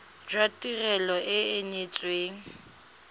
jwa tirelo e e neetsweng